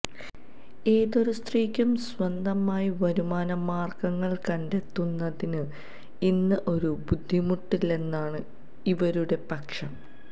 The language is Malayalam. ഏതൊരു സ്ത്രീക്കും സ്വന്തമായി വരുമാന മാര്ഗ്ഗങ്ങള് കണ്ടെത്തുന്നതിന് ഇന്ന് ഒരു ബുദ്ധിമുട്ടില്ലെന്നാണ് ഇവരുടെ പക്ഷം